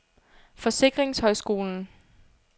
Forsikringshøjskolen